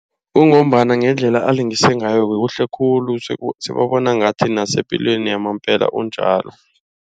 Kungombana ngendlela alingisa ngayo kuhle khulu. Sebabona ngathi nasepilweni yamambala unjalo.